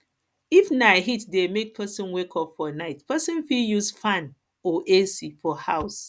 if na heat dey make person wake up for night person fit use fan or ac for house